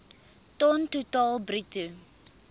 ton totaal bruto